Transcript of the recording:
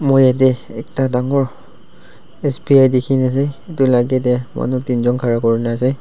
moi yatae ekta dangur S_B_I dikhina ase edu la agey tae manu teenjon khara kurina ase.